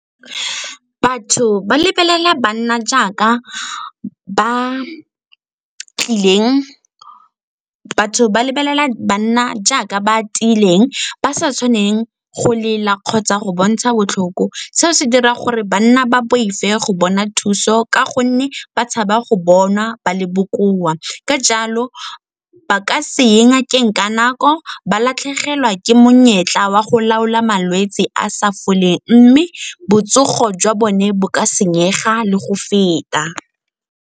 Batho ba lebelela banna jaaka ba tiileng, ba sa tshwaneng go lela kgotsa go bontsha botlhoko. Seo se dira gore banna ba boife go bona thuso ka gonne ba tshaba go bonwa ba le bokoa. Ka jalo ba ka seye ngakeng ka nako, ba latlhegelwa ke monyetla wa go laola malwetse a a sa foleng mme botsogo jwa bone bo ka senyega le go feta.